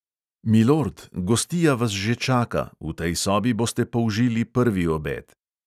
Milord, gostija vas že čaka, v tej sobi boste použili prvi obed.